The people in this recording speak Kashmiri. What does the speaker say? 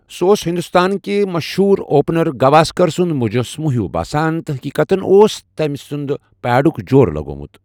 سُہ اوس ہندوستانکہِ مشہوٗر اوپنر گواسکر سُنٛد مُجسمہٕ ہیوٗ باسان تہٕ حٔقیقَتَن اوس تمہِ سنٛدِ پیڈُک جورٕ لگٲوِتھ ۔